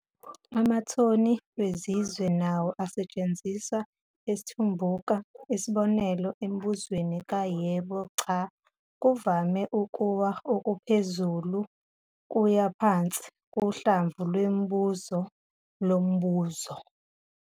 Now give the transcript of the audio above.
Amathoni wezizwe nawo asetshenziswa esiTumbuka, isibonelo, emibuzweni ka-yebo-cha kuvame ukuwa okuPhezulu kuya Phansi kuhlamvu lwemibuzo lombuzo.